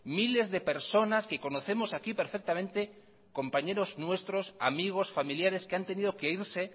miles de personas que conocemos aquí perfectamente compañeros nuestros amigos familiares que han tenido que irse